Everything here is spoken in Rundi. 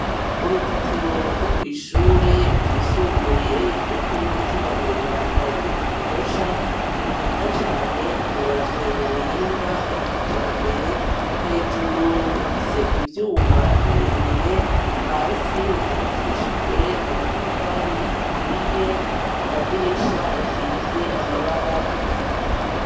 Uruzitiro rwo kw'ishure ryisumbuye ryo kuri Mutima mwiranda ryo mu Gihosha, ni rwiza cane rwubatswe mu buhinga bwa kijambere hejuru rufise ivyuma birebire hasi rukubakishijwe amatafari aturiye amadirisha asize amabara y'ubururu.